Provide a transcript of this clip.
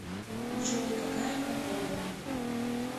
джой какая погода